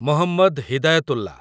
Mohammad Hidayatullah